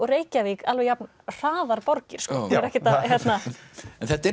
Reykjavík alveg jafn hraðar borgir en þetta er